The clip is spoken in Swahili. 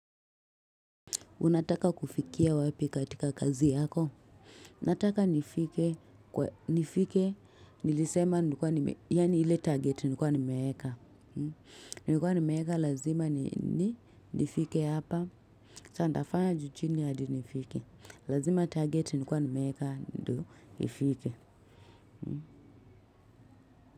Unataka kufikia wapi katika kazi yako. Nataka nifike. Nifike nilisema nikuwe nimefika. Yani ile target nilikuwa nimeweka. Nilikuwa nimeeka. Lazima nifike hapa. Sasa nitafanya juu chini hadi nifike. Lazima target nilikuwa nimeweka ndo ifike.